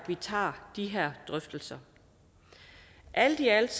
vi tager de her drøftelser alt i alt